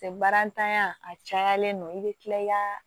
Barantanya a cayalen don i be kila i ka